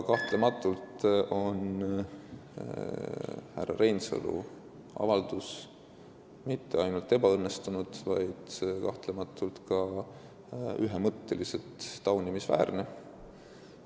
Kahtlemata on härra Reinsalu avaldus mitte ainult ebaõnnestunud, vaid ka ühemõtteliselt taunimisväärne.